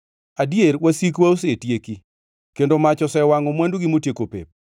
‘Adier, wasikwa osetieki, kendo mach osewangʼo mwandugi motieko pep!’